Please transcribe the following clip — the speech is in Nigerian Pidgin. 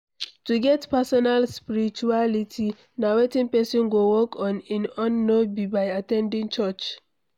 To get personal Spirituality na wetin person go work on in own no be by at ten ding church